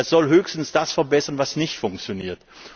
Sie soll höchstens das verbessern, was nicht funktioniert.